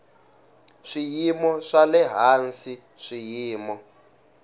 swiyimo swa le hansi swiyimo